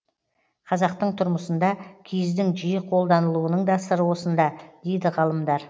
қазақтың тұрмысында киіздің жиі қолданылуының да сыры осында дейді ғалымдар